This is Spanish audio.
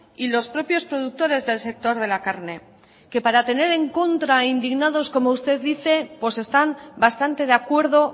y los propios productores del sector de la carne que para tener en contra e indignados como usted dice pues están bastante de acuerdo